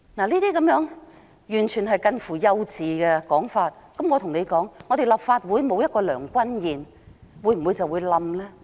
聽到這種完全近乎幼稚的說法，我便想指出，立法會少了梁君彥會否倒塌？